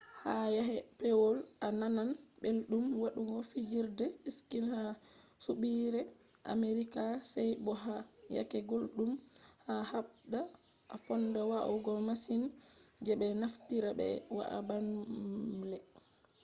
ha yake pewol a nanan belɗum waɗugo fijerde ski ha soɓɓiire amerika sey bo ha yake gulɗum a haɓda a fonda wa’ugo masin je ɓe naftirta ɓe wa’a baamle